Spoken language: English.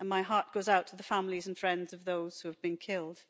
And my heart goes out to the families and friends of those who have been killed.